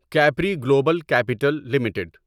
Capri Global Capital limited